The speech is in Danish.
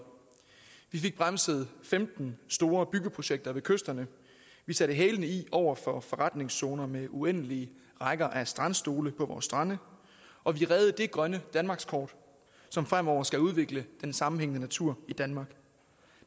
vi fik bremset femten store byggeprojekter ved kysterne vi satte hælene i over for forretningszoner med uendelige rækker af strandstole på vores strande og vi reddede det grønne danmarkskort som fremover skal udvikle den sammenhængende natur i danmark